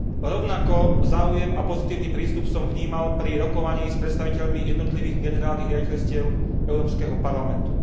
Rovnako záujem a pozitívny prístup som vnímal pri rokovaní s predstaviteľmi jednotlivých generálnych riaditeľstiev Európskeho parlamentu.